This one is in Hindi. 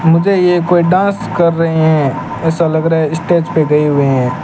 मुझे ये कोई डांस कर रहे हैं ऐसा लग रहा है स्टेज पे गए हुए हैं।